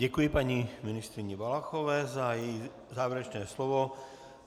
Děkuji paní ministryni Valachové za její závěrečné slovo.